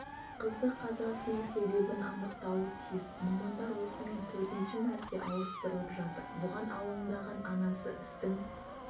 қызы қазасының себебін анықтауы тиіс мамандар осымен төртінші мәрте ауыстырылып жатыр бұған алаңдаған анасы істің